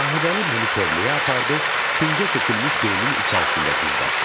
Sahibəli məni tövləyə apardı, küncə tökülmüş peyinin içərisində gizlətdi.